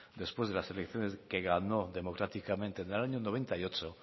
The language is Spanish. después de la elecciones que ganó democráticamente en el año noventa y ocho